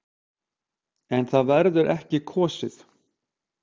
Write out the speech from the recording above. En það verður kosið.